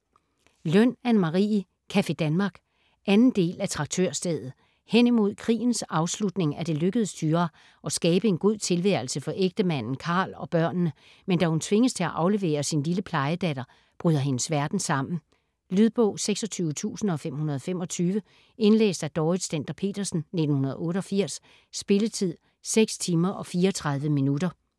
Løn, Anne Marie: Café Danmark 2. del af Traktørstedet. Henimod krigens afslutning er det lykkedes Thyra at skabe en god tilværelse for ægtemanden Karl og børnene, men da hun tvinges til at aflevere sin lille plejedatter, bryder hendes verden sammen. Lydbog 26525 Indlæst af Dorrit Stender-Petersen, 1988. Spilletid: 6 timer, 34 minutter.